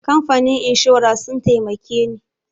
Kamfanin inshora sun taimake ni.